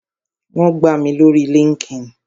Wón gbà mí lórii líńki-inì